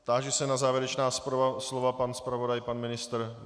Táži se na závěrečná slova: pan zpravodaj, pan ministr?